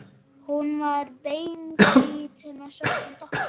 Hún var beinhvít með svörtum doppum.